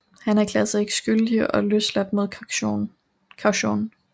Han erklærede sig ikke skyldig og blev løsladt mod kaution